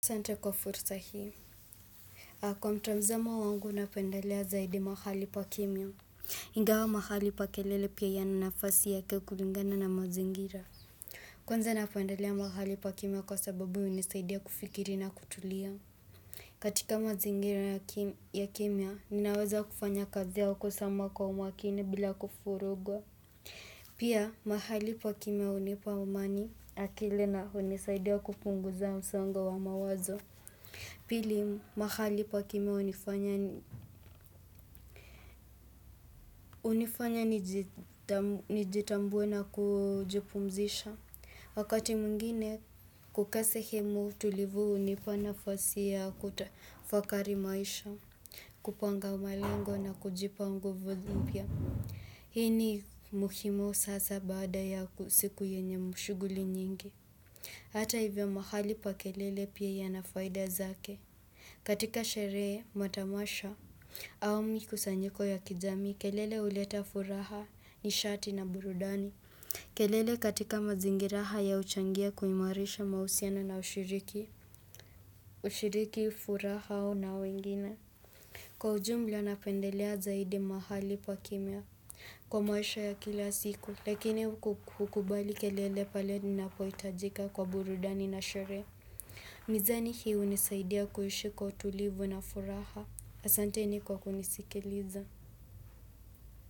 Asante kwa fursa hii kwa mtazamo wangu napendelea zaidi mahali pa kimya Ingawa mahali pa kelele pia yana nafasi yake kulingana na mazingira Kwanza napendelea mahali pa kimya kwa sababu unisaidia kufikiri na kutulia katika mazingira ya kimya, ninaweza kufanya kazi yao kusama kwa umakini bila kufurugwa Pia mahali pa kimya unipa umani akili na unisaidia kupunguza msongo wa mawazo Pili mahali pa kimya unifanya, unifanya nijitambue na kujipumzisha. Wakati mwingine kukaa sehimu tulivu unipa nafasi ya kutafakari maisha, kupanga malengo na kujipa nguvu mpya Hii ni muhimu sasa baada ya usiku yenye mashuguli nyingi. Hata hivyo mahali pa kelele pia yana faida zake. Katika sherehe matamasha au mikusanyiko ya kijamii, kelele uleta furaha nishati na burudani. Kelele katika mazingira haya uchangia kuhimarisha mahusiano na ushiriki. Ushiriki furaha au na wengine. Kwa ujumla napendelea zaidi mahali pa kimya kwa maisha ya kila siku lakini kukubali kelele pale ninapoitajika kwa burudani na sherehe. Mizani hii unisaidia kuhishi kwa utulivu na furaha asanteni kwa kunisikiliza.